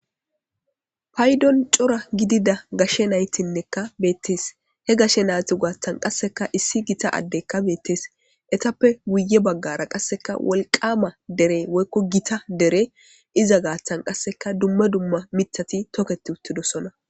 paydon cora gidida gashe naytinnekka beettees he gashe nayti gaattan qasseka issi gita addekka beettees etappe wuye baggara qasseka wolqama dere woykko gita dere iza gaattan qasseka dumme dumma mithati toketi uttidosona